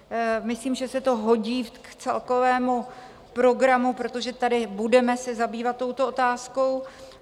Myslím, že se to hodí k celkovému programu, protože tady se budeme zabývat touto otázkou.